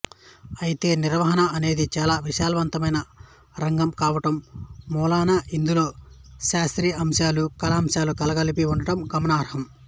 అయితే నిర్వహణ అనేది చాలా విశాలవంతమైన రంగం కావటం మూలాన ఇందులో శాస్త్రీయాంశాలు కళాంశాలు కలగలిపి ఉండటం గమనార్హం